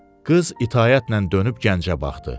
Qız itaətlə dönüb gəncə baxdı.